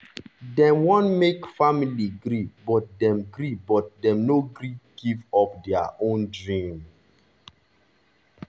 dem want make family gree but dem gree but dem no gree give up their own dream.